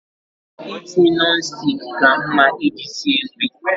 Ite Nọn stik ka mma iji sie nri